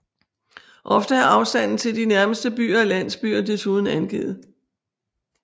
Ofte er afstanden til de nærmeste byer og landsbyer desuden angivet